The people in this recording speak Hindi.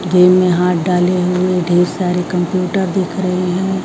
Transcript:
जेब में हाथ डाले हुए ढेर सारे कंप्यूटर दिख रहे हैं।